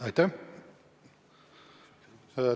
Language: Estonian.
Aitäh!